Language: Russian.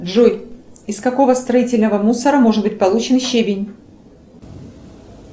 джой из какого строительного мусора может быть получен щебень